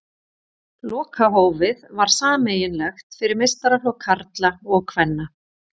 Lokahófið var sameiginlegt fyrir meistaraflokk karla og kvenna.